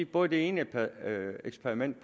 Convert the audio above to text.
både det ene eksperiment